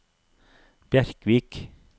Bjerkvik